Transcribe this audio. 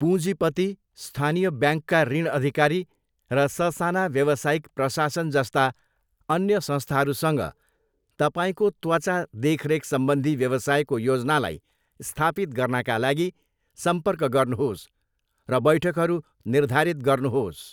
पुजीपति, स्थानीय ब्याङ्कका ऋण अधिकारी र स साना व्यवसायिक प्रशासन जस्ता अन्य संस्थाहरूसँग तपाईँको त्वचा देखरेखसम्बन्धी व्यवसायको योजनालाई स्थापित गर्नाका लागि सम्पर्क गर्नुहोस् र बैठकहरू निर्धारित गर्नुहोस्।